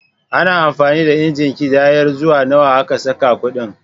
Ana amfani da injin ƙidayar zuwa nawa aka saka kuɗin.